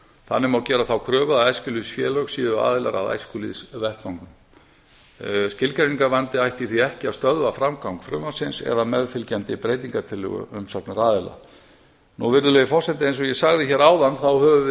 þannig má gera þá kröfu að eftirlitsfélög séu aðilar að æskulýðsvettvangnum skilgreiningarvandi ætti því ekki að stöðva framgang frumvarpsins eða meðfylgjandi breytingartillögu umsagnaraðila eins og ég sagði hér áðan þá höfum við